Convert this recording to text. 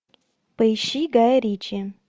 поищи гая ричи